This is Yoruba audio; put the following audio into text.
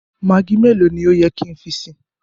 Maggi mẹ̀lọ̀ ni o yẹ ki n fi sí?